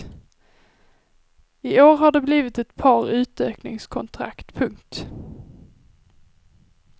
I år har det blivit ett par utökningskontrakt. punkt